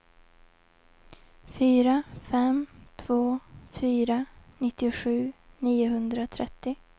fyra fem två fyra nittiosju niohundratrettio